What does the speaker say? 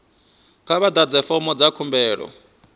kha vha ḓadze fomo dza khumbelo